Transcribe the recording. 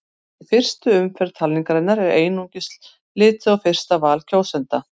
Í fyrstu umferð talningarinnar er einungis litið á fyrsta val kjósenda.